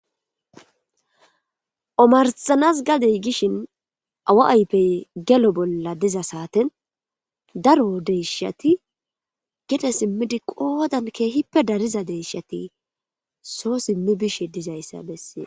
Omarsanas gadey gishn awa ayfey gelo bolla diza saaten daro deyshati gede simid qodan keehippe dariza deyshati so simi bishe dizaysa beses